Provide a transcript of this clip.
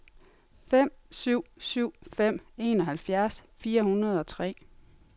fem syv syv fem enoghalvfjerds fire hundrede og tre